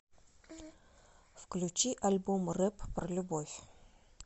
включи альбом рэп про любовь